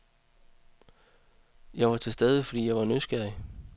Jeg var til stede fordi jeg var nysgerrig.